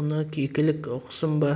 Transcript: оны кекілік ұқсын ба